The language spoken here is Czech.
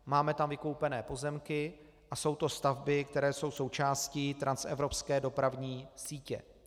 Máme tam vykoupené pozemky a jsou to stavby, které jsou součástí transevropské dopravní sítě.